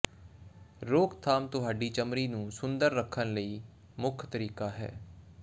ਰੋਕਥਾਮ ਤੁਹਾਡੀ ਚਮੜੀ ਨੂੰ ਸੁੰਦਰ ਰੱਖਣ ਲਈ ਮੁੱਖ ਤਰੀਕਾ ਹੈ